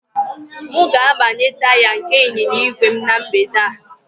M ga-agbanye taya nke ịnyịnya ígwè m na mgbede a